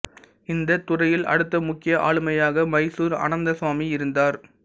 இந்த துறையில் அடுத்த முக்கிய ஆளுமையாக மைசூர் அனந்தசுவாமி இருந்தார்